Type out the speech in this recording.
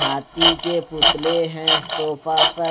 हाथी के पुतले है सोफा पर--